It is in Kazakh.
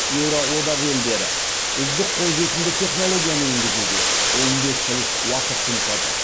еуроодақ елдері үздік қолжетімді технологияны енгізуге он бес жыл уақыт жұмсады